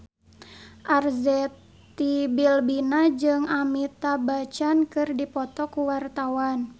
Arzetti Bilbina jeung Amitabh Bachchan keur dipoto ku wartawan